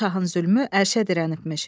Bu şahın zülmü ərşə dirənibmiş.